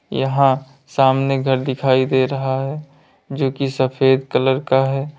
यहां सामने घर दिखाई दे रहा है जो की सफेद कलर का है।